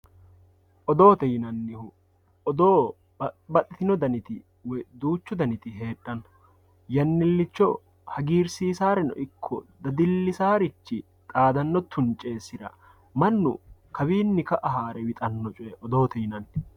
Oddotte yinanihu oddo baaxitino daanitti woyyi duuchu daanitti heedhano yaanilicho haagirsisareno iko daadilisaricha xaadano tuunicesira maanu kaawinni ka"a haare wixanno coyye oddotte yinanni